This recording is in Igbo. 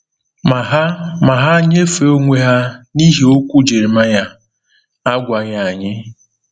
Ma ha Ma ha nyefee onwe ha n’ihi okwu Jeremaịa, a gwaghị anyị.